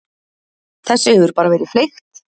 Þessu hefur bara verið fleygt.